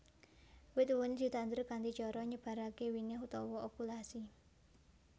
Wit wuni ditandur kanthi cara nybaraké winih utawa okulasi